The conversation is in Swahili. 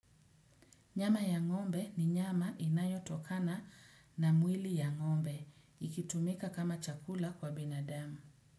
Nyama ya ng'ombe ni nyama inayotokana na mwili ya ngombe, ikitumika kama chakula kwa binadamu.